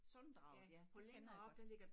Sunddraget ja det kender jeg godt